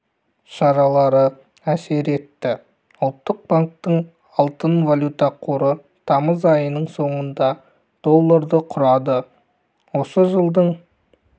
шаралары әсер етті ұлттық банктің алтын-валюта қоры тамыз айының соңында долларды құрады осы жылдың